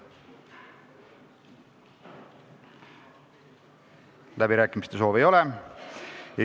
Läbirääkimiste soovi ei ole.